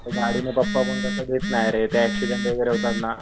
त्या गाडीने पप्पापण तस देत नाय रे ते ऍक्सीडेन्ट वगैरे होतात ना.